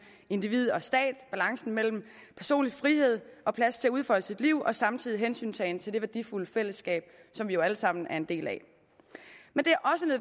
individ og stat balancen mellem personlig frihed og plads til at udfolde sit liv og samtidig hensyntagen til det værdifulde fællesskab som vi jo alle sammen er en del af men det